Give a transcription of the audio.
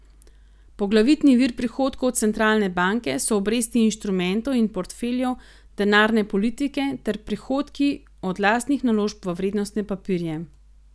Poglavitni vir prihodkov centralne banke so obresti instrumentov in portfeljev denarne politike ter prihodki od lastnih naložb v vrednostne papirje.